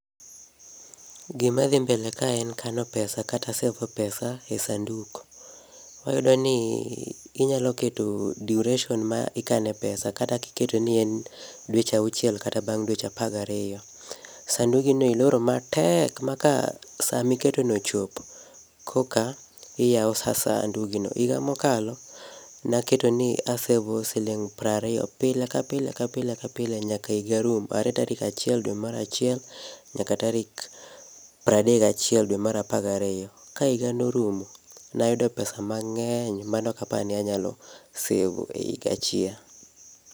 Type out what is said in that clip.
Gima dhi mbele ka en kano pesa kata sevo pesa e sanduk. Wayudo ni ii inyalo keto duration ma ikane pesa kata kiketo ni en dweche auchiel kata bang' dweche apagario. Sandugino iloro matek maka samiketo no ochopo koka iyao sa sandugi no. Iga mokalo, naketo ni asevo siling' prario, pile kapile kapile kapile nyaka iga rum are tarik achiel dwe mar achiel nyaka tarik pradek gachiel dwe mar apagario. Ka iga norumo, nayudo pesa mang'eny manokapani anyalo sevo e iga achiel.